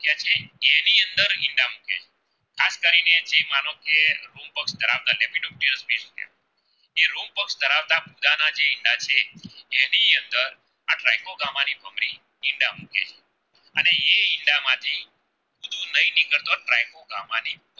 ઈંડા મૂકે અને એ ઈંડા માંથી ગામ ની